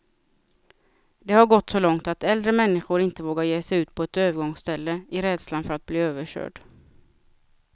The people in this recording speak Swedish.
Det har gått så långt att äldre människor inte vågar ge sig ut på ett övergångsställe, i rädslan för att bli överkörd.